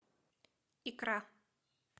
икра